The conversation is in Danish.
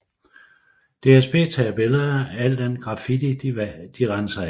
DSB tager billeder af al den graffiti de renser af